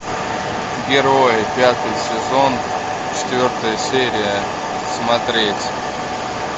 герои пятый сезон четвертая серия смотреть